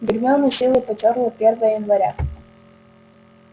гермиона с силой потёрла первое января